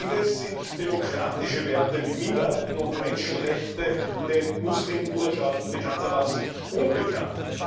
Indes sind demokratische Werte wie Minderheiten und Menschenrechte den Muslimbruderschaften bekanntermaßen unbekannt.